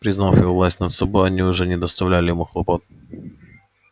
признав его власть над собой они уже не доставляли ему хлопот